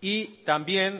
y también